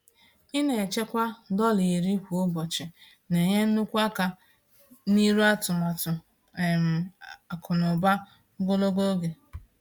Ịna-echekwa dọla 10 kwa ụbọchị na-enye nnukwu aka n'iru atụmatụ um akụnaụba ogologo oge.